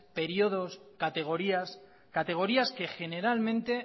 periodos categorías categorías que generalmente